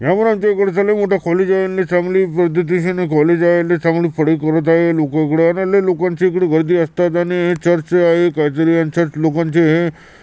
इकडचे लय मोठ कॉलेज आहे आणि चांगली पद्धतीचे कॉलेज आहे लय चांगली करत आहे लोक उघड्यावर लय लोकांची इकडे वर्दी असतात आणि हे चर्च आहे. काहीतरी यांच्यात लोकांचे हे --